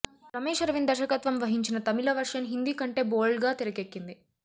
రమేష్ అరవింద్ దర్శకత్వం వహించిన తమిళ వెర్షన్ హిందీ కంటే బోల్డ్గా తెరకెక్కింది